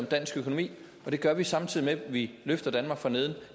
dansk økonomi og det gør vi samtidig med at vi løfter danmark fra neden